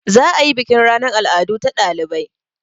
Za a yi bukin ranan al'adu ta ɗalibai.